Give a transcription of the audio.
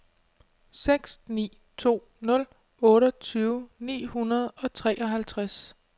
seks ni to nul otteogtyve ni hundrede og treoghalvtreds